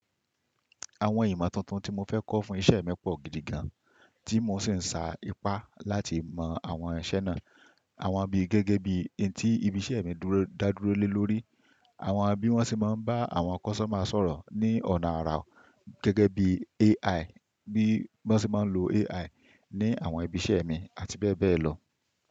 Àwọn ìmọ̀ tuntun tí mo fẹ́ kọ́ fún iṣẹ́ mi pọ̀ gidi gan, tí mò ń sì ń sa ipá láti mọ àwọn iṣẹ́ náà. Àwọn bí gẹ́gẹ́ bí n tí ibi iṣẹ́ mi dá dúró le lórí, àwọn bí wọ́n sì máa ń bá àwọn customer sọ̀rọ̀ ní ọ̀nà àrà gẹ́gẹ́ bí AI, bí wọ́n sì máa ń lo AI ní àwọn ibi iṣẹ́ mi àti bẹ́ẹ̀ bẹ́ẹ̀ lọ.